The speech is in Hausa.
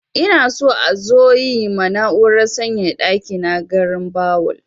Ina so a zo yi ma na'urar sanyaya ɗaki na garinbawul.